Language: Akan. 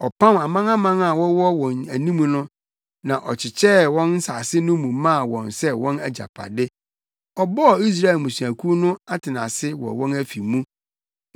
Ɔpam amanaman a wɔwɔ wɔn anim no na ɔkyekyɛɛ wɔn nsase no mu maa wɔn sɛ wɔn agyapade; ɔbɔɔ Israel mmusuakuw no atenase wɔ wɔn afi mu.